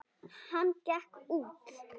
Hann gekk út.